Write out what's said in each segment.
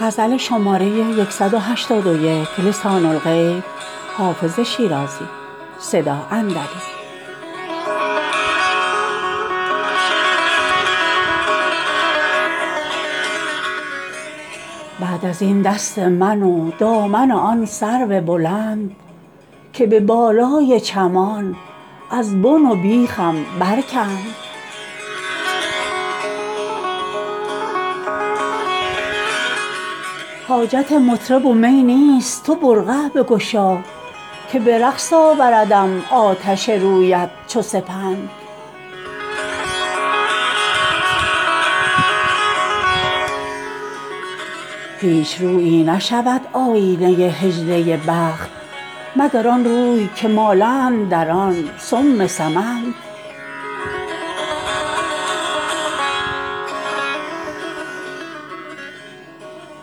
بعد از این دست من و دامن آن سرو بلند که به بالای چمان از بن و بیخم برکند حاجت مطرب و می نیست تو برقع بگشا که به رقص آوردم آتش رویت چو سپند هیچ رویی نشود آینه حجله بخت مگر آن روی که مالند در آن سم سمند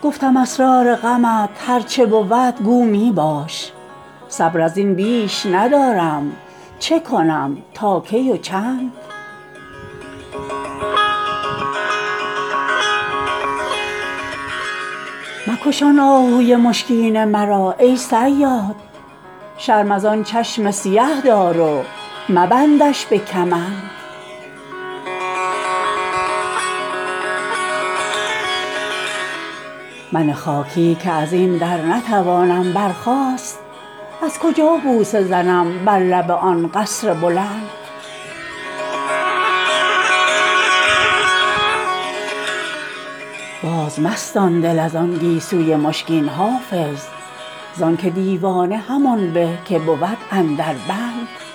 گفتم اسرار غمت هر چه بود گو می باش صبر از این بیش ندارم چه کنم تا کی و چند مکش آن آهوی مشکین مرا ای صیاد شرم از آن چشم سیه دار و مبندش به کمند من خاکی که از این در نتوانم برخاست از کجا بوسه زنم بر لب آن قصر بلند بازمستان دل از آن گیسوی مشکین حافظ زان که دیوانه همان به که بود اندر بند